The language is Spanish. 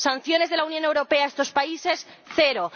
Sanciones de la Unión Europea a estos países cero.